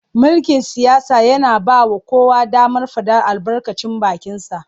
Mulkin siyasa yana ba wa kowa damar faɗar albarkacin bakinsa.